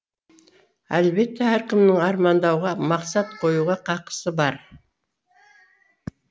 әлбетте әркімнің армандауға мақсат қоюға қақысы бар